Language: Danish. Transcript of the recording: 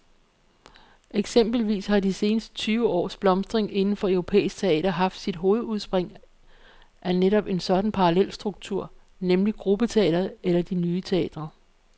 Eksempelvis har de seneste tyve års blomstring inden for europæisk teater haft sit hovedudspring af netop sådan en parallelstruktur, nemlig gruppeteatret eller de nye teatre.